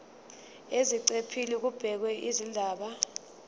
eziqephini kubhekwe izindaba